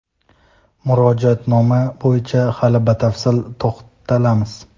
Murojaatnoma bo‘yicha hali batafsil to‘xtalamiz.